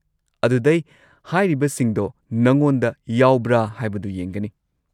ꯑꯗꯨꯗꯩ ꯍꯥꯏꯔꯤꯕꯁꯤꯡꯗꯣ ꯅꯉꯣꯟꯗ ꯌꯥꯎꯕ꯭ꯔꯥ ꯍꯥꯏꯕꯗꯣ ꯌꯦꯡꯒꯅꯤ꯫